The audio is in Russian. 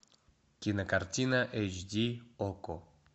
кинокартина эйч ди окко